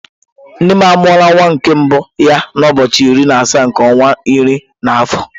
Nne m amuru nwa nke mbu ya na ụbọọchi iri na asaa nke ọnwa iri na afọ.